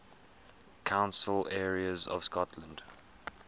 council areas of scotland